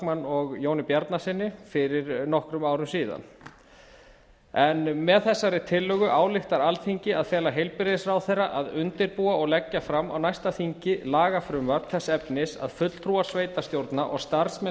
backman og jóni bjarnasyni fyrir nokkrum árum síðan með þessari tillögu ályktar alþingi að fela heilbrigðisráðherra að undirbúa og leggja fram á næsta þingi lagafrumvarp þess efnis að fulltrúar sveitarstjórna og starfsmenn